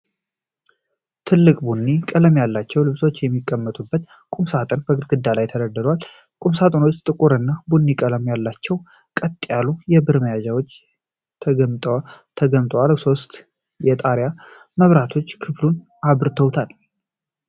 ትልልቅ ቡኒ ቀለም ያላቸው ልብሶች የሚቀመጡባቸው ቁምሳጥኖች በግድግዳ ላይ ተደርድረዋል። ቁምሳጥኖቹ ጥቁር እና ቡኒ ቀለም አላቸው፣ ቀጥ ያሉ የብር መያዣዎች ተገጥመውላቸዋል። ሶስት የጣሪያ መብራቶች ክፍሉን አብርተውታል።